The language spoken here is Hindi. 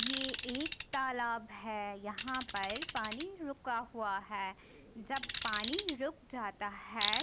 यह एक तालाब है यहाँ पर पानी रुका हुआ है जब पानी रुक जाता है।